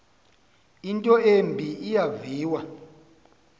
into embi eyaviwa